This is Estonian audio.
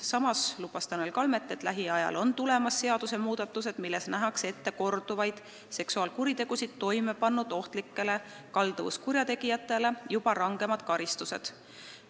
Samas lubas Tanel Kalmet, et lähiajal on tulemas seadusmuudatused, millega nähakse ette korduvaid seksuaalkuritegusid toime pannud ohtlikele kalduvuskurjategijatele juba rangemad karistused.